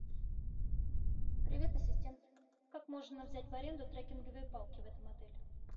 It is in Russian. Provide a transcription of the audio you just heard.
привет ассистент как можно взять в аренду трекинговые палки в этом отеле